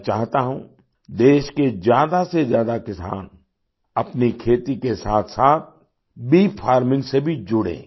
मैं चाहता हूँ देश के ज्यादासेज्यादा किसान अपनी खेती के साथसाथ बी फार्मिंग से भी जुड़ें